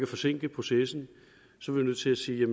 forsinke processen nødt til at sige